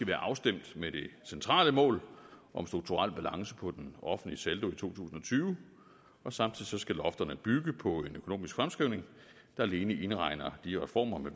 være afstemt med det centrale mål om strukturel balance på den offentlige saldo i to tusind og tyve og samtidig skal lofterne bygge på en økonomisk fremskrivning der alene indregner de reformer